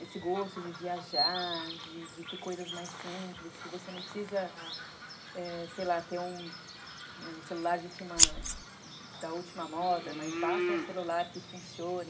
Esse gosto de viajar, de de ter coisas mais simples, que você não precisa, sei lá, ter um celular da última moda, mas basta um celular que funcione.